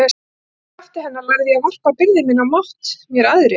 Í krafti hennar lærði ég að varpa byrði minni á mátt mér æðri.